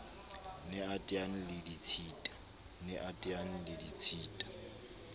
ne a teane le ditshita